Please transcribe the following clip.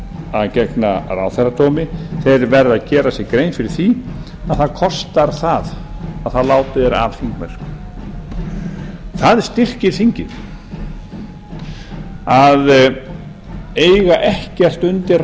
að gegna ráðherradómi verða að gera sér grein fyrir því að það kostar það þegar látið er af þingmennsku það styrkir þingið að eiga ekkert undir